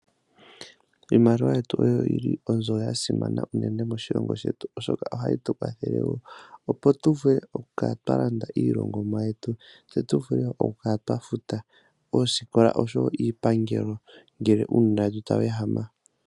Iimaliwa yetu oyili oyo onzo yasimana uunene moshilongo shetu, oshoka ohayi tukwathele opo tuvule okukala twalanda iilongomwa yetu, tse tuvule okukala twafuta oosikola osho wo iipangelo ngele uunona tawu ehama.